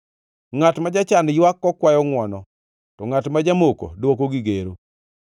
Ngʼat ma jachan ywak kokwayo ngʼwono, to ngʼat ma jamoko dwoko gi gero.